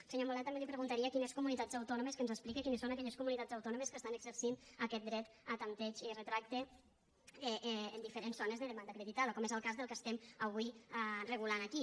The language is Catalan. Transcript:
al senyor milà també li preguntaria quines comunitats autònomes que ens explique quines són aquelles comunitats autònomes que estan exercint aquest dret a tanteig i retracte en diferents zones de demanda acreditada com és el que del que estem avui regulant aquí